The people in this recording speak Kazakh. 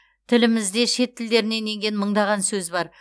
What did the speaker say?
тілімізде шет тілдерінен енген мыңдаған сөз бар